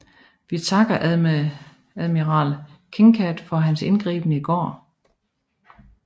Vi takker admiral Kinkaid for hans indgriben i går